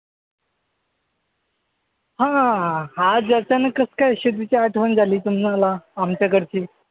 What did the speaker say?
हां. आज अचानक कसं काय शेतीची आठवण झाली तुम्हांला आमच्याकडची?